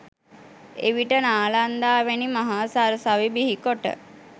එවිට නාලන්දා වැනි මහා සරසවි බිහිකොට